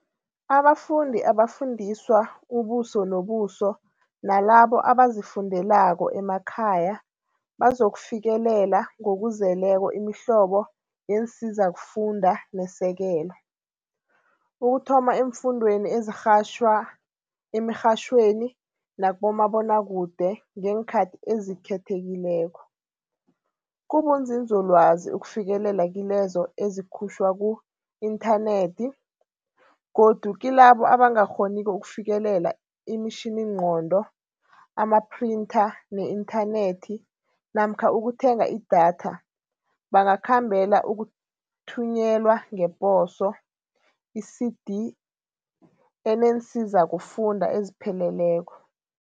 Abafundi abafundiswa ubuso nobuso nalabo abazifundelako emakhaya bazokufikelela ngokuzeleko imihlobo yeensizakufunda nesekelo, ukuthoma eemfundweni ezirhatjhwa emirhatjhweni nakumabonakude ngeenkhathi ezikhethekileko, kubunzinzolwazi ukufikela kilezo ezikhutjhwa ku-inthanethi godu, kilabo abangakghoniko ukufikelela imitjhiningqondo, amaphrintha ne-inthanethi namkha ukuthenga i-data, bangakhombela ukuthunyelwa ngeposo i-CD eneensiza-kufunda ezipheleleko.